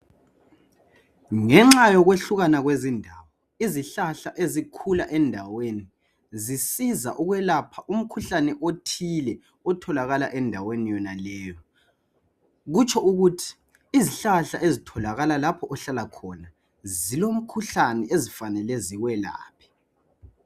Ngenxa yokeehlulana kwendawo izihlahla ezikhula endaweni zisiza ukwelapha umkhuhlane othile otholakala endaweni yonaleyi kutsho ukuthi izihlahla ezitholakala lapho ohlala khona zilomkhuhlane ezifanele ziwelaphe